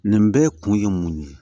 Nin bɛɛ kun ye mun ye